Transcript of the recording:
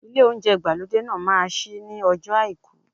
Ilé oúnjẹ ìgbàlódé náà ma ṣí ní ọjọ́ọ Àìkú.